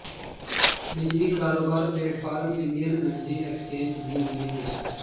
ਬਿਜਲੀ ਕਾਰੋਬਾਰ platform Indian energy exchange ਦੀ ਨਵੀਂ ਪੇਸ਼ਕਸ਼